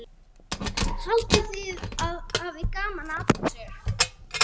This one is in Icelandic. Haldið þið að ég hafi gaman að þessu?